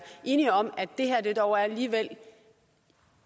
enige om at det her dog alligevel